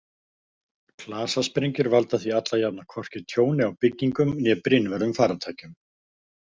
Klasasprengjur valda því alla jafna hvorki tjóni á byggingum né brynvörðum farartækjum.